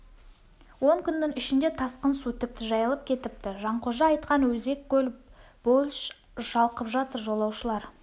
он күннің ішінде тасқын су тіпті жайылып кетіпті жанқожа айтқан өзек көл больш шалқып жатыр жолаушылар